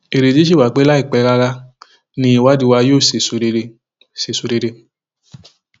ìrètí sì wà pé láìpẹ rárá ni ìwádìí wa yóò sèso rere sèso rere